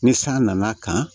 Ni san nana kan